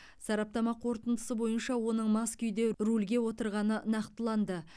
сараптама қорытындысы бойынша оның мас күйде рульге отырғаны нақтыланды